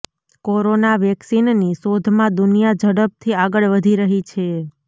corona વેક્સિનની શોધમાં દુનિયા ઝડપથી આગળ વધી રહી છે